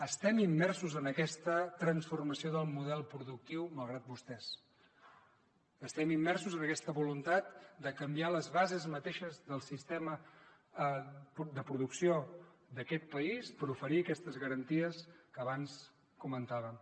estem immersos en aquesta transformació del model productiu malgrat vostès estem immersos en aquesta voluntat de canviar les bases mateixes del sistema de producció d’aquest país per oferir aquestes garanties que abans comentàvem